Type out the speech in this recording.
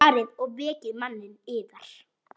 Farið og vekið manninn yðar.